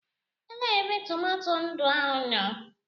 Elee ebe tomato ndụ ahụ nọ?